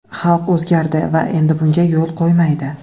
Xalq o‘zgardi va endi bunga yo‘l qo‘ymaydi.